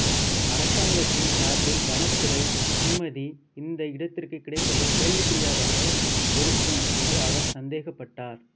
அரசாங்கத்தின் சார்பில் வனத்துறை அனுமதி இந்த இடத்திற்கு கிடைப்பது கேள்விக்குரியதாக இருக்கும் என்று அவர் சந்தேகப்பட்டார்